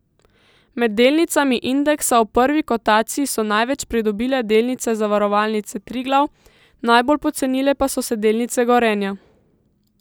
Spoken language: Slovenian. Med delnicami indeksa v prvi kotaciji so največ pridobile delnice Zavarovalnice Triglav, najbolj pocenile pa so se delnice Gorenja.